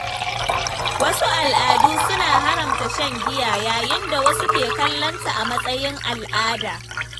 Wasu al’adu suna haramta shan giya, yayin da wasu ke kallonta a matsayin al’ada.